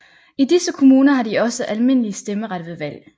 I disse kommuner har de også almindelig stemmeret ved valg